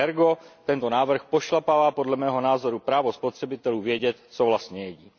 Ergo, tento návrh pošlapává, podle mého názoru, právo spotřebitelů vědět, co vlastně jedí.